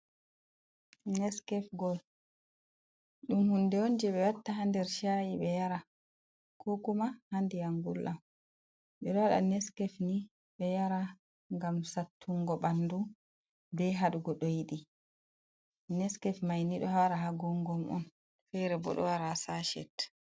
Neskef gol. Ɗum hunde on je ɓe watta ha nder shaaii bee yara, ko kuma ha ndiyam ngulɗam. Ngam sattungo ɓandu be hadugo ɗoi ɗi. Neskef maini ɗo wara ha gongom on ferebo ɗo wara ha saashet.